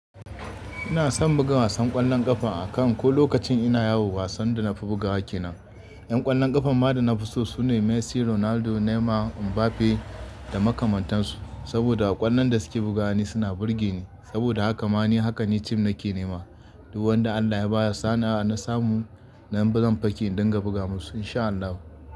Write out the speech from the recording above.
Ina son buga wasan ƙwallon ƙafa a kan ko lokacin ina yawo wasan da na fi bugawa ke nan. Ƴan ƙwallon ƙafan ma da na fi so sune Messi, Ronaldo, Neymar, Mbappe da makamantansu. Saboda ƙwallon da suke bugawa ni suna burge ni. Saboda haka ma ni haka ni tim nake nema. Duk wanda Allah ya bayar sana'a na samu, nan ba zan faki don ga buga musu in sha Allah.